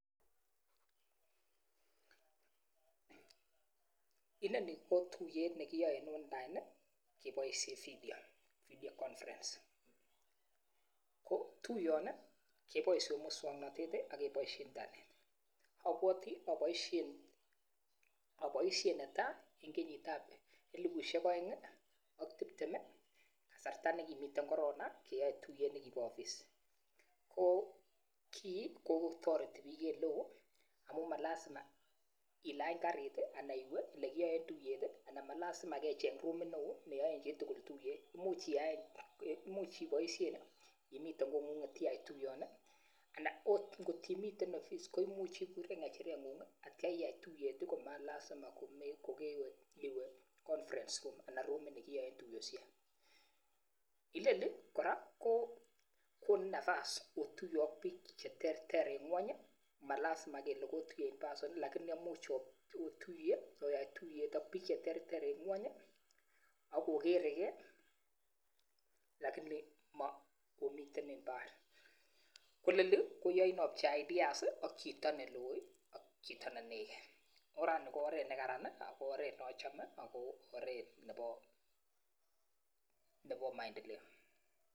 Inoni ko tuiyet nekiyae en online kibaishen vidio conference ko tuiyoni keiboishen moswaknatet AK kebaishen internet abwati abaishen netai en kenyit ab elibushiek aeng ak tibtem kasarta nikimiten Korina keyae tuiyet nikimiten ofis ko ki kotareti eleo amun malasima ilany kariit Alan iwe elekiyaen tuiyet alan malasima kecheng rumit neon neyaenbchitugul tuiyet much iyaen, AK ibaishen yanimiten kongun tuiyoni anan ot kotimii ofis iburen ngecherengung iyai tuiyet komalasima kokewee conference room Alan rumit nekiyaen tuyoshek inoni koraa ko konin nafas otuiye ak bik cheterter en ngwony amalazima kele kotuiye en lakini komuch otuiye Alan Oya tuiyet AK bik cheterter en ngweny akokeregei lakini makomitenbibar koyai obchei ideas AK Chito neloo AK Chito nekit oranii ko oret nekararan ako oret neachome ako oret Nebo maendeleo